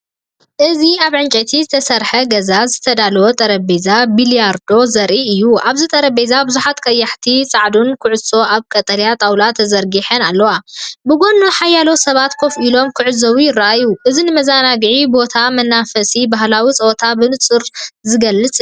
እዚ ኣብ ዕንጨይቲ ዝተሰርሐ ገዛ ዝተዳለወ ጠረጴዛ ቢልያርዶ ዘርኢ እዩ። ኣብቲ ጠረጴዛ ብዙሓት ቀያሕትን ጻዕዳን ኩዕሶታት ኣብ ቀጠልያ ጣውላ ተዘርጊሐን ኣለዋ። ብጎኒ ሓያሎ ሰባት ኮፍ ኢሎም ክዕዘቡ ይረኣዩ። እዚ ንመዘናግዒ ቦታን መንፈስ ባህላዊ ጸወታን ብንጹር ዝገልጽ እዩ።